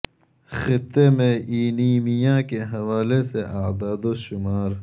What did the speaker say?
خطے میں اینیمیا کے حوالے سے اعداد و شمار